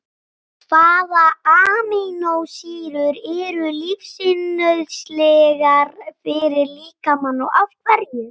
Hvaða amínósýrur eru lífsnauðsynlegar fyrir líkamann og af hverju?